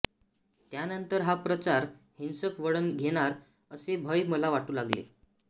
त्यानंतर हा प्रचार हिंसक वळण घेणार असे भय मला वाटू लागले